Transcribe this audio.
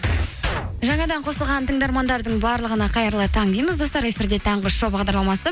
жаңадан қосылған тыңдармандардың барлығына қайырлы таң дейміз достар эфирде таңғы шоу бағдарламасы